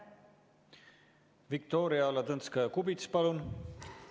Viktoria Ladõnskaja-Kubits, palun!